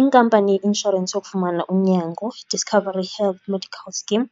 Inkampani yeinshorensi yokufumana unyango, iDiscovery Health Medical Scheme,